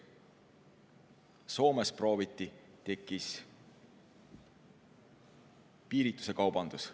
Soomes prooviti – tekkis piiritusekaubandus.